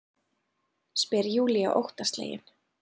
spyr Júlía óttaslegin.